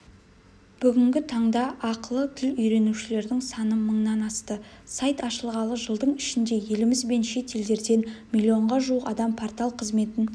бүгінгі таңда арқылы тіл үйренушілердің саны мыңнан асты сайт ашылғалы жылдың ішінде еліміз бен шет елдерден млн-ға жуық адам портал қызметін